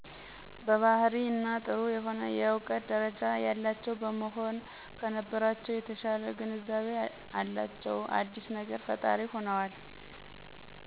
የባህሪ እና ጥሩ የሆነ የእውቀት ደረጃ ያላቸው በመሆን ከነበረቻው የተሻለ ግንዛቤ አላቸው፤ አዲስ ነገር ፈጣሪ ሆነዋል